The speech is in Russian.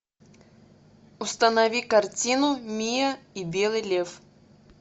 установи картину миа и белый лев